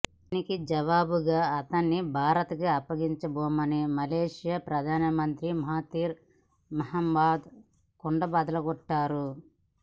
దీనికి జవాబుగా అతడిని భారత్ కు అప్పగించబోమని మలేసియా ప్రధానమంత్రి మహాతిర్ మొహమద్ కుండబద్దలు కొట్టారు